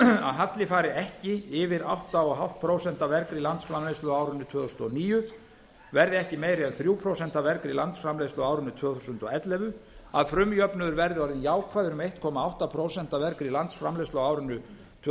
að halli fari ekki yfir átta og hálft prósent af vergri landsframleiðslu á árinu tvö þúsund og níu verði ekki meiri en þrjú prósent af vergri landsframleiðslu á árinu tvö þúsund og ellefu að frumjöfnuður verði orðinn jákvæður um einn komma átta prósent af vergri landsframleiðslu á árinu tvö